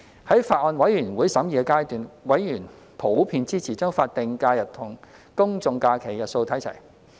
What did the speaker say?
在法案委員會審議階段，委員普遍支持將法定假日與公眾假期日數看齊。